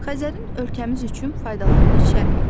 Xəzərin ölkəmiz üçün faydalarını şərh et.